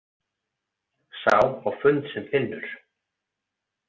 „Sá á fund sem finnur!“